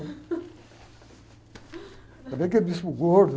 Ainda bem que é bispo gordo.